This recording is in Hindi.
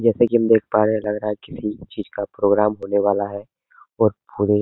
जैसे कि हम देख पा रहे हैं लग रहा है किसी चीज़ का प्रोग्राम होने वाला है और पूरे --